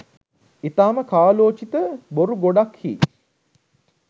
ඉතාම කාලෝචිත බොරු ගොඩක්හී